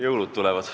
Jõulud tulevad.